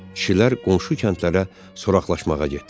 Kişilər qonşu kəndlərə soraqlaşmağa getdilər.